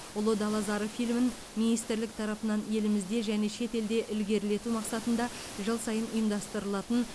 ұлы дала зары фильмін министрлік тарапынан елімізде және шетелде ілгерілету мақсатында жыл сайын ұйымдастырылатын